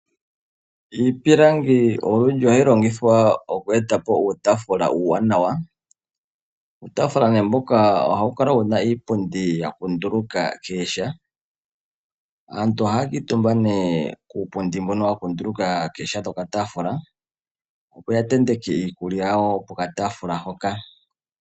Iipilangi olundji ohayi longitwa oku eta po uutafula uuwanawa, uutafula mbuka ohawu kala wuna iipundi ya kunduluka kooha. Aantu ohaya kamutumba kuupundi mbuno wa kunduluka kooha dhoka taafula opo ya tenteke iikulya yawo poka tafula hoka.